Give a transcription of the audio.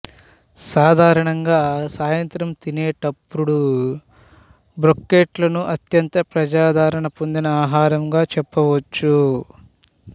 సాధారణంగా సాయంత్రం తినేటపుడు బ్రోకెట్లను అత్యంత ప్రజాదరణ పొందిన ఆహారంగా చెప్పవచ్చు